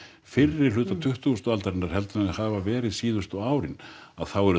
fyrri hluta tuttugustu aldar heldur en þau hafa verið síðustu árin að þá eru